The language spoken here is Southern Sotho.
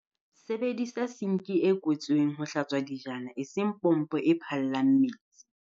Sebedisa sinki e kwetsweng ho hlatswa dijana, eseng pompo e phallang metsi.